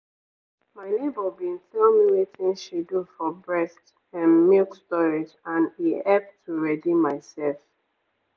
my neighbour bin tell me wetin she do for breast ehm milk storage and e hep to ready myself.